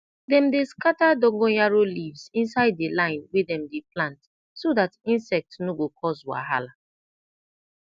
dem dey scata dongon yaro leaves inside de line wey dem dey plant so dat insect no go coz wahala